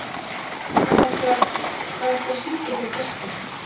Hvað ætlarðu að, hvað ætlarðu að syngja fyrir gesti?